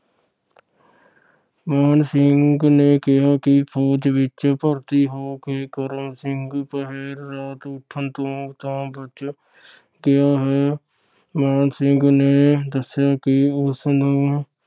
ਮਾਣ ਸਿੰਘ ਨੇ ਕਿਹਾ ਕਿ ਫੌਜ ਵਿਚ ਭਰਤੀ ਹੋ ਕੇ ਕਰਮ ਸਿੰਘ ਪਹਿਰ ਰਾਤ ਉੱਠਣ ਤੋਂ ਤਾਂ ਬਚਿਆ ਗਿਆ ਹੈ। ਮਾਣ ਸਿੰਘ ਨੇ ਦੱਸਿਆ ਕਿ ਉਸਨੂੰ